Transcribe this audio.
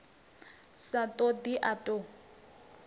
sa ṱo ḓi a ṱo